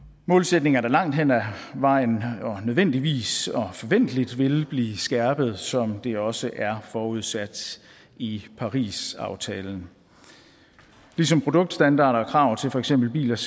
målsætninger der langt hen ad vejen og nødvendigvis og forventeligt vil blive skærpet som det også er forudsat i parisaftalen ligesom produktstandarder og krav til for eksempel bilers